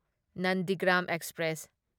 Nandigram express